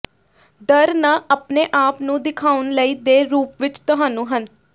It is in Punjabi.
ਡਰ ਨਾ ਆਪਣੇ ਆਪ ਨੂੰ ਦਿਖਾਉਣ ਲਈ ਦੇ ਰੂਪ ਵਿੱਚ ਤੁਹਾਨੂੰ ਹਨ